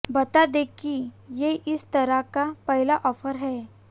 बता दें कि ये इस तरह का पहला ऑफर है